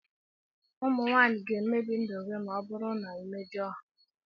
Ụmụ nwanyị ga-emebi ndụ gị ma ọ bụrụ na ị na-emejọ ha.